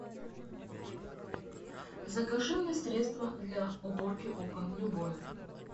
закажи мне средство для уборки окон любое